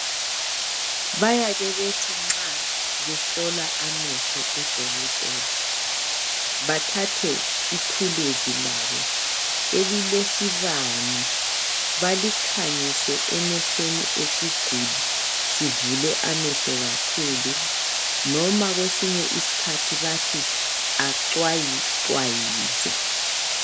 Bayake bethi nxa behlola amehlo odokotela bathathe ithuluzi labo elilesibane balikhanyise emehlweni esiguli sivule amehlo kakhulu noma kwesinye isikhathi bathi acwayicwayize